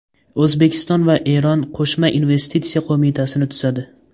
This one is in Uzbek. O‘zbekiston va Eron qo‘shma investitsiya qo‘mitasini tuzadi.